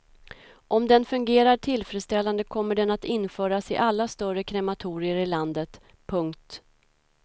Om den fungerar tillfredställande kommer den att införas i alla större krematorier i landet. punkt